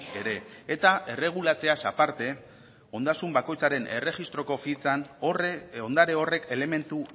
ere eta erregulatzeaz aparte ondasun bakoitzaren erregistroko fitxan ondare horrek elementu